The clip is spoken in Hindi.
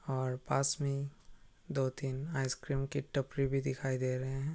और पास में दो-तीन आइसक्रीम की टपरी भी दिखाई दे रहे हैं।